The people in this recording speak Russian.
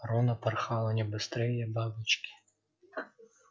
рона порхала не быстрее бабочки